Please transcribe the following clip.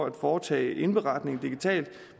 at foretage indberetning digitalt